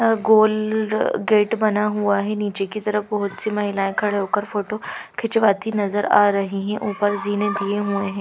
गोल gate बना हुआ है नीचे की तरफ बहुत सी महिलाएं खड़े होकर फोटो खिंचवाती नजर आ रही हैं ऊपर जीने दिए हुए ह--